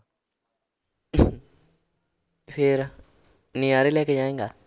ਫਿਰ ਨਜ਼ਾਰੇ ਲੈ ਕੇ ਜਾਏਂਗਾ।